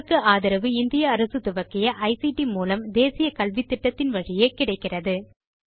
இதற்கு ஆதரவு இந்திய அரசு துவக்கிய ஐசிடி மூலம் தேசிய கல்வித்திட்டத்தின் வழியே கிடைக்கிறது